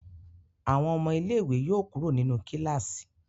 Àwọn ọmọ ilé ìwé yóò kúrò nínú kilasi.